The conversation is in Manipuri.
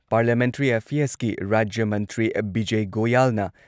ꯄꯥꯔꯂꯤꯌꯥꯃꯦꯟꯇ꯭ꯔꯤ ꯑꯦꯐꯤꯌꯔꯁꯀꯤ ꯔꯥꯖ꯭ꯌ ꯃꯟꯇ꯭ꯔꯤ ꯕꯤꯖꯢ ꯒꯣꯌꯥꯜꯅ